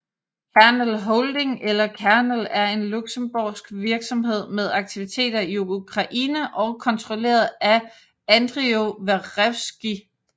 Kernel Holding eller Kernel er en luxembourgsk virksomhed med aktiviteter i Ukraine og kontrolleret af Andriy Verevskyi